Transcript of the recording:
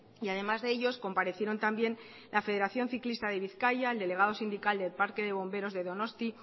y además de ellos comparecieron también la federación ciclista de bizkaia el delegado sindical del parque de bomberos de donosti